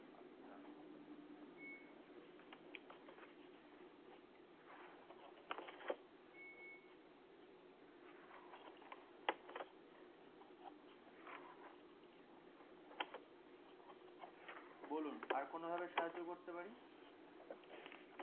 বলুন আর কোনো সাহায্য করতে পারি